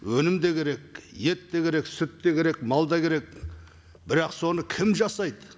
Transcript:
өнім де керек ет те керек сүт те керек мал да керек бірақ соны кім жасайды